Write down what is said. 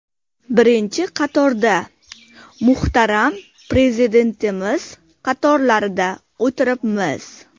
Birinchi qatorda, muhtaram prezidentimiz qatorlarida o‘tiribmiz.